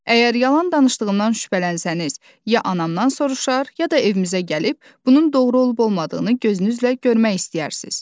Əgər yalan danışdığından şübhələnsəniz, ya anamdan soruşar, ya da evimizə gəlib bunun doğru olub-olmadığını gözünüzlə görmək istəyərsiz.